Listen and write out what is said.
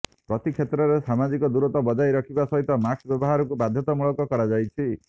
ପ୍ରତି କ୍ଷେତ୍ରରେ ସାମାଜିକ ଦୂରତ୍ୱ ବଜାୟ ରଖିବା ସହିତ ମାସ୍କ ବ୍ୟବହାରକୁ ବାଧ୍ୟତାମୂଳକ କରାଯାଇଛି